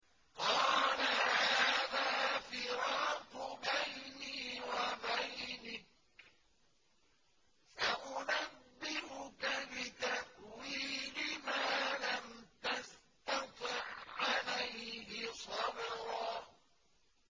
قَالَ هَٰذَا فِرَاقُ بَيْنِي وَبَيْنِكَ ۚ سَأُنَبِّئُكَ بِتَأْوِيلِ مَا لَمْ تَسْتَطِع عَّلَيْهِ صَبْرًا